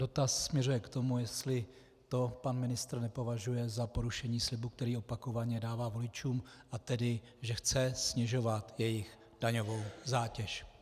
Dotaz směřuje k tomu, jestli to pan ministr nepovažuje za porušení slibu, který opakovaně dává voličům, a tedy že chce snižovat jejich daňovou zátěž.